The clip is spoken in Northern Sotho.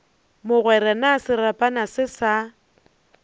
mogwera na serapana se sa